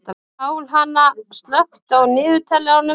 Pálhanna, slökktu á niðurteljaranum.